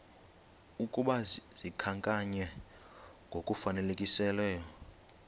ukuba zikhankanywe ngokufanelekileyo